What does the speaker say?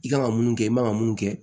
I kan ka mun kɛ i man ka mun kɛ